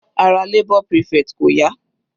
Ara labour prefect kò yá.